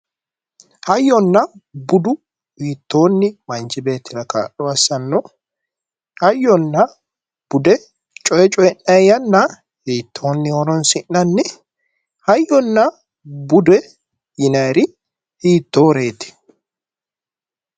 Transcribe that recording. Hayyonna budu manchi beettira hiittonni kaa'lo assanno hayyonna bude coy coyiinanni yanna hiittonni horonsi'nanni? hayyonna bude yinanniri hiittoreeti?